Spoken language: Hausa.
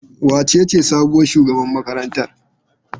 Wacece sabuwar shugabar makarantar?